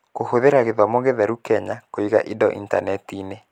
Kũhũthĩra Gĩthomo Gĩtheru Kenya Kũiga Indo Intaneti-inĩ